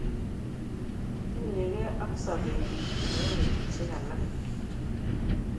Tinyege ak sobeyun nebo betushek alak.